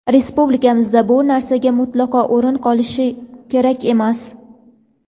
Respublikamizda bu narsaga mutlaqo o‘rin qolishi kerak emas.